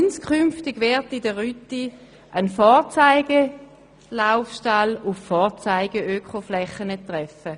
Inskünftig wird man auf der Rütti auf einen Vorzeigelaufstall auf Vorzeigeökoflächen treffen.